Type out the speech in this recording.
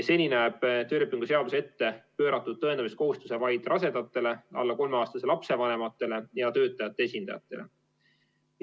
Seni näeb töölepingu seadus ette pööratud tõendamiskohustuse vaid rasedatele, alla 3-aastase lapse vanematele ja töötajate esindajatele.